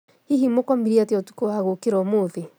Hihi mũkomire atĩa ũtukũwa gũũkĩra ũmũthĩ?